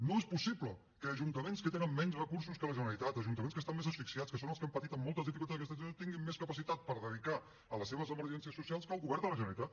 no és possible que ajuntaments que tenen menys recursos que la generalitat ajuntaments que estan més asfixiats que són els que han patit amb moltes dificultats aquesta situació tinguin més capacitat per dedicar a les seves emergències socials que el govern de la generalitat